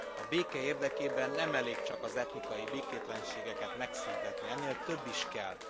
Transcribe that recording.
A béke érdekében nem elég csak az etnikai békétlenségeket megszűntetni, ennél több is kell.